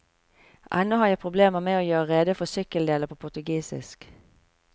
Ennå har jeg problemer med å gjøre rede for sykkeldeler på portugisisk.